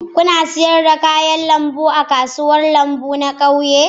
Kuna sayar da kayan lambu a kasuwar kayan lambu na ƙauye?